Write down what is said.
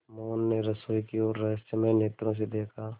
मोहन ने रसोई की ओर रहस्यमय नेत्रों से देखा